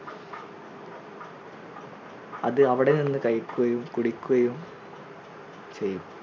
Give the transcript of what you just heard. അത് അവിടെ നിന്ന് കഴിക്കുകയും കുടിക്കുകയും ചെയ്യും